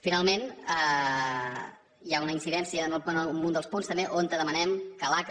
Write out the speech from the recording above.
finalment hi ha una incidència en un dels punts també on demanem que l’aca